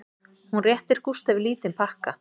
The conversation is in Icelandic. Hún réttir Gústafi lítinn pakka